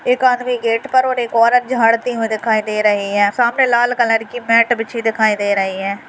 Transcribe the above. एक आदमी गेट पर और एक औरत झाड़ती हुई दिखाई दे रही है सामने लाल कलर की मैट बिछी दिखाई दे रही है।